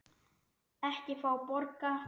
Ekki fá borga.